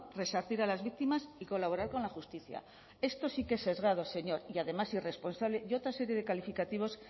resarcir a las víctimas y colaborar con la justicia esto sí que es sesgado señor y además irresponsable y otra serie de calificativos